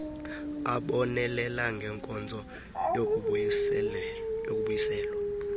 abonelela ngenkonzo yokubuyiselwa